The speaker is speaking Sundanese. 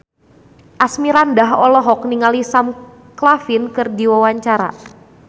Asmirandah olohok ningali Sam Claflin keur diwawancara